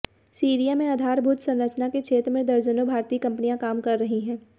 Syria में आधारभूत संरचना के क्षेत्र में दर्जनों भारतीय कंपनियां काम कर रही हैं